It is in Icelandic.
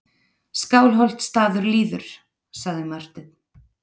Skálholtsstaður líður, sagði Marteinn.